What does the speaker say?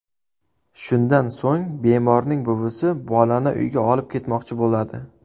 Shundan so‘ng bemorning buvisi bolani uyga olib ketmoqchi bo‘ladi.